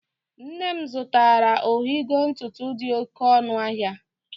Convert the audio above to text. Nne m zụtara ọhigọ ntụtụ dị oké ọnụ ahịa.